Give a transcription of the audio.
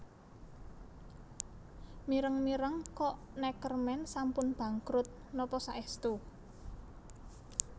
Mireng mireng kok Neckermann sampun bangkrut nopo saestu